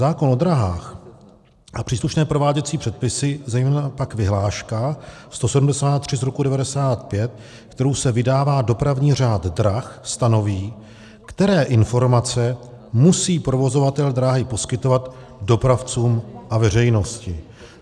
Zákon o dráhách a příslušné prováděcí předpisy, zejména pak vyhláška 173 z roku 1995, kterou se vydává dopravní řád drah, stanoví, které informace musí provozovatel dráhy poskytovat dopravcům a veřejnosti.